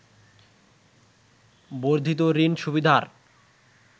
বর্ধিত ঋণ সুবিধার